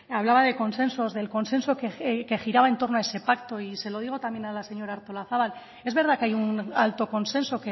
hablaba de consensos del consenso que giraba en torno a ese pacto y se lo digo también a la señora artolazabal es verdad que hay un alto consenso